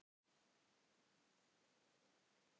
Hvernig hafa dagarnir verið í fæðingarorlofinu?